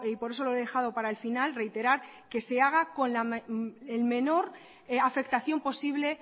por eso lo he dejado para el final reiterar que se haga con la menor afectación posible